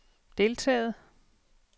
deltaget